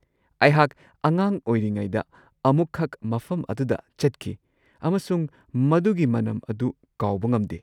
ꯑꯩꯍꯥꯛ ꯑꯉꯥꯡ ꯑꯣꯏꯔꯤꯉꯩꯗ ꯑꯃꯨꯛꯈꯛ ꯃꯐꯝ ꯑꯗꯨꯗ ꯆꯠꯈꯤ ꯑꯃꯁꯨꯡ ꯃꯗꯨꯒꯤ ꯃꯅꯝ ꯑꯗꯨ ꯀꯥꯎꯕ ꯉꯝꯗꯦ꯫